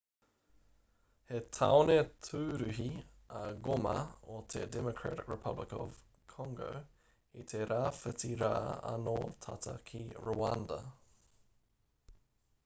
he tāone tūruhi a goma o te democratic republic of congo i te rāwhiti rā anō tata ki rwanda